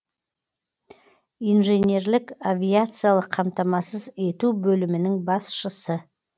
инженерлік авиациялық қамтамасыз ету бөлімінің басшысы